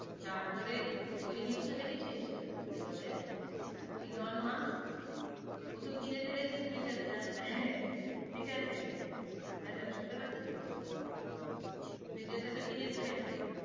তার পরে ওই news টা দেখেছিস, আহ কি বলে, এলোন মাস্ক ও তো কেনে ফেলেছে টুইটার টা, আহ ঠিক আছে hello শুনতে পারছিস টুইটার টা তো কিনে ফেলেছে,